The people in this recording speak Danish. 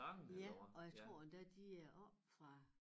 Ja og jeg tror endda de er oppe fra